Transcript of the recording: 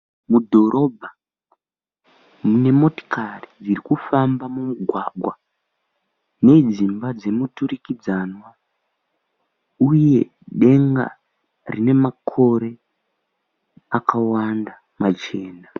Mudhorobha mune motokari dziri kufamba mumugwagwa nedzimba dzemuturikidzanwa uye denga rine makore akawanda machena.